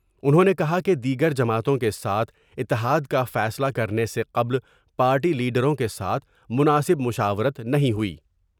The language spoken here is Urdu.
انہوں نے کہا کہ دیگر جماعتوں کے ساتھ اتحاد کا فیصلہ کرنے سے قبل پارٹی لیڈروں کے ساتھ مناسب مشاورت نہیں ہویٔی